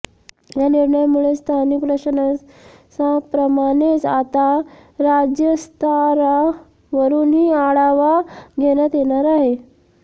या निर्णयामुळे स्थानिक प्रशासनाप्रमाणेच आता राज्य स्तरावरूनही आढावा घेण्यात येणार आहे